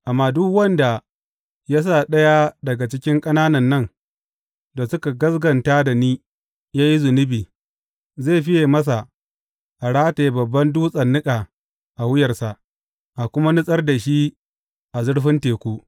Amma duk wanda ya sa ɗaya daga cikin ƙananan nan da suka gaskata da ni ya yi zunubi, zai fiye masa a rataya babban dutsen niƙa a wuyarsa, a kuma nutsar da shi a zurfin teku.